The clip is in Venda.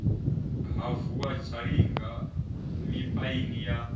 ha vuwa zhalinga mipaini ya